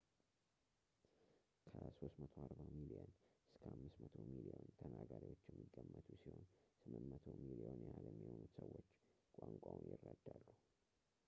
ከ 340 ሚሊዮን እስከ 500 ሚሊዮን ተናጋሪዎች የሚገመቱ ሲሆን 800 ሚሊዮን ያህል የሚሆኑት ሰዎች ቋንቋውን ይረዳሉ